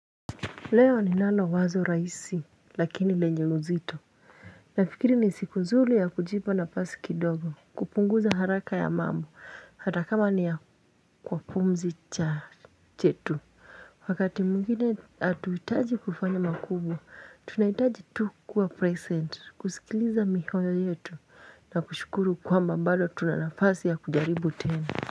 Leo ninalo wazo rahisi lakini lenye uzito. Nafikiri ni siku zuri ya kujipa nafasi kidogo, kupunguza haraka ya mambo hata kama ni ya kufumzi cha chetu. Wakati mwingine hatuhitaji kufanya makubwa, tunahitaji tu kuwa present kusikiliza mioyo yetu na kushukuru kwamba ambalo tuna nafasi ya kujaribu tena.